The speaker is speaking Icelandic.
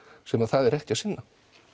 sem að það er ekki að sinna